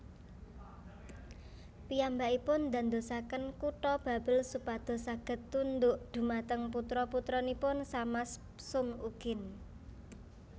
Piyambakipun ndandosaken kutha Babel supados saged tunduk dhumateng putra putranipun Samas sum ukin